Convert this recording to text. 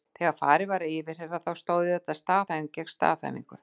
Þegar farið var að yfirheyra þá stóð auðvitað staðhæfing gegn staðhæfingu.